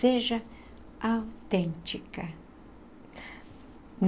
Seja autêntica.